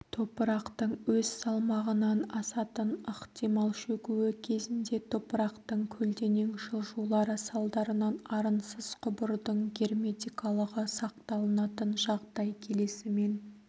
топырақтың өз салмағынан асатын ықтимал шөгуі кезінде топырақтың көлденең жылжулары салдарынан арынсыз құбырдың герметикалығы сақталынатын жағдай келесімен